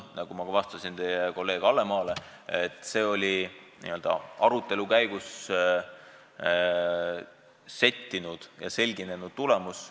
Nagu ma juba vastasin kolleeg Hallemaale, see on arutelu käigus settinud ja selginenud tulemus.